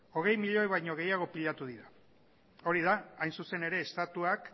hogei milioi baino gehiago pilatu dira hori da hain zuzen ere estatuak